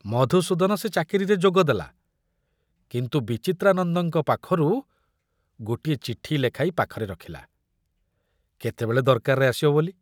ମଧୁସୂଦନ ସେ ଚାକିରିରେ ଯୋଗଦେଲା, କିନ୍ତୁ ବିଚିତ୍ରାନନ୍ଦଙ୍କ ପାଖରୁ ଗୋଟିଏ ଚିଠି ଲେଖାଇ ପାଖରେ ରଖିଲା, କେତେବେଳେ ଦରକାରରେ ଆସିବ ବୋଲି।